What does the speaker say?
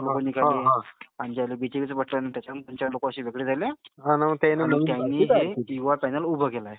BJP चं button. त्यांचे असे काही लोक वेगळे झाले आणि युवा पैनल उभ केलाय.